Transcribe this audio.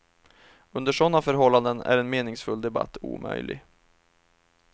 Under sådana förhållanden är en meningsfull debatt omöjlig.